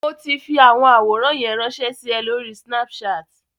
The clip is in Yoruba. Mo ti fi àwọn àwòrán yẹn ránṣẹ́ sí ẹ lóri Snapchat.